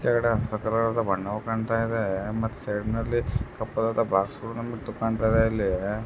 ಕೆಳಗಡೆ ಸಕ್ಕತ್ತಾಗಿರೋ ಬಣ್ಣ ಕಾಣಿಸ್ತಾ ಇದೆ ಮತ್ತೆ ಸೈಡಲ್ಲಿ ಕಪ್ಪು ಬೊಸ್ಗಳು ಕಾಂಟ್ತಾಯಿದೆ.